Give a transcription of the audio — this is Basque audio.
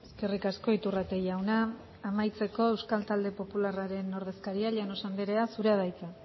eskerrik asko iturrate jauna amaitzeko euskal talde popularraren ordezkaria llanos andrea zurea da hitza